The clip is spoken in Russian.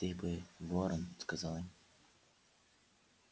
ты бы ворон сказал им